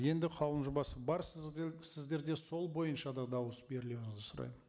енді қаулының жобасы бар сіздерде сол бойынша да дауыс берулеріңізді сұраймын